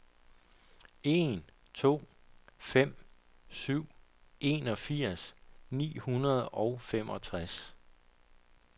en to fem syv enogfirs ni hundrede og femogtres